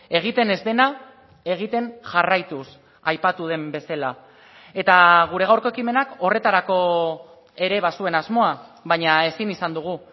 egiten ez dena egiten jarraituz aipatu den bezala eta gure gaurko ekimenak horretarako ere bazuen asmoa baina ezin izan dugu